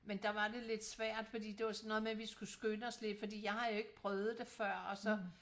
Men der var det lidt svært fordi det var sådan noget med vi skulle skynde os lidt fordi jeg har jo ikke prøvet det før og så